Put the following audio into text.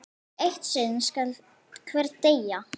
Eitt sinn skal hver deyja!